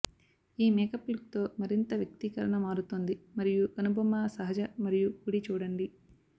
ఈ makeup look తో మరింత వ్యక్తీకరణ మారుతోంది మరియు కనుబొమ్మ సహజ మరియు కుడి చూడండి